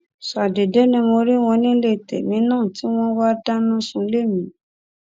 ṣàdédé ni mo rí wọn nílé tèmi náà tí wọn wáá dáná sunlé mi